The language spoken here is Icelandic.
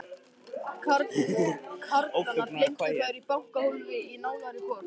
Karlana geymdu þær í bankahólfi í nálægri borg.